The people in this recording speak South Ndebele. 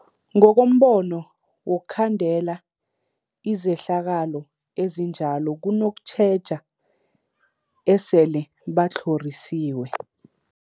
Ngokombono wokhandela izehlakalo ezinjalo kunokutjheja esele batlhorisiwe.